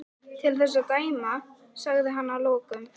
Til þess að dæma sagði hann að lokum.